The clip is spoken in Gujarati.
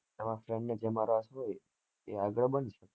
તમારા friend ને જેમાં રસ હોય